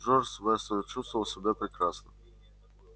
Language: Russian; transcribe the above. джордж вестон чувствовал себя прекрасно